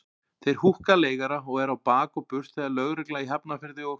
Þeir húkka leigara og eru á bak og burt þegar lögreglan í Hafnarfirði og